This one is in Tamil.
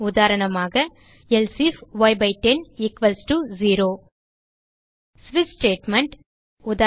உதாரணமாக எல்சே ifய்10 ஈக்வல்ஸ் டோ 0 ஸ்விட்ச் ஸ்டேட்மெண்ட்